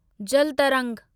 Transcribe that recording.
जल तरंग